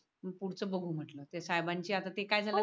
पुढचं बघू म्हटलं ते साहेबांची आता ते काय झालं